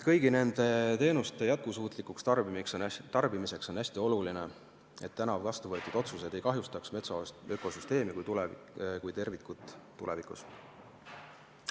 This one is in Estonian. Kõigi nende teenuste jätkusuutlikuks tarbimiseks on hästi oluline, et täna vastu võetud otsused ei kahjustaks metsaökosüsteemi kui tervikut tulevikus.